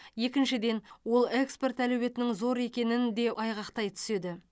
екіншіден ол экспорт әлеуетінің зор екенін де айғақтай түседі